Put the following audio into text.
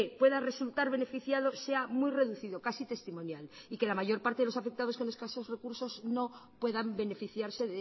pueda resultar beneficiado sea muy reducido casi testimonial y que la mayor parte de los afectados con escasos recursos no puedan beneficiarse